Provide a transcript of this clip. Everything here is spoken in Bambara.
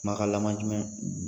Kumakan laban jumɛn